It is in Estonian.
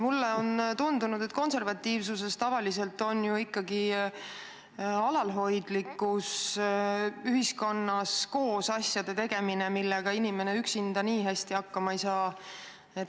Mulle on tundunud, et konservatiivsuse puhul tavaliselt on aus ikkagi alalhoidlikkus, ühiskonnas koos niisuguste asjade tegemine, millega inimene üksinda nii hästi hakkama ei saa.